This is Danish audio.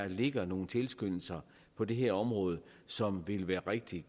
ligger nogle tilskyndelser på det her område som vil være rigtig